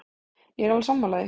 Ég er alveg sammála því.